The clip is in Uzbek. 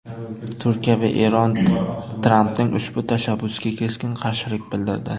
Turkiya va Eron Trampning ushbu tashabbusiga keskin qarshilik bildirdi .